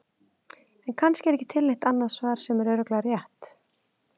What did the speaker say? En kannski er ekki til neitt annað svar sem er örugglega rétt.